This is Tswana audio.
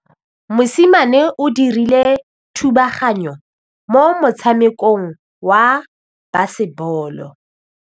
Mosimane o dirile thubaganyô mo motshamekong wa basebôlô.